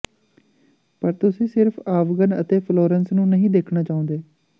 ਪਰ ਤੁਸੀਂ ਸਿਰਫ ਆਵਗਨ ਅਤੇ ਫਲੋਰੈਂਸ ਨੂੰ ਨਹੀਂ ਦੇਖਣਾ ਚਾਹੁੰਦੇ